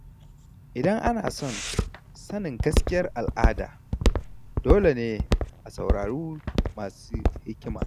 Idan ana son sanin gaskiyar al’ada, dole ne a saurari masu hikima.